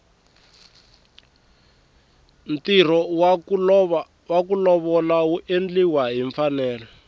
ntirho waku lovola wu endliwa hi mfanelo